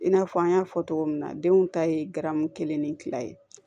I n'a fɔ an y'a fɔ cogo min na denw ta ye garamu kelen ni fila ye